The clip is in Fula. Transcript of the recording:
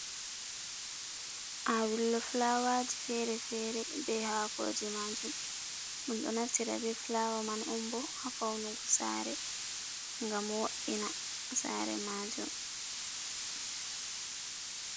Awillo fulawaji fere-fere, be ha koje majum, ɗum ɗo naftira be fulawa man on bo ha faunugo sare, gam wo’ina sare majum.